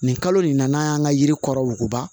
Nin kalo nin na n'an y'an ka yiri kɔrɔ wo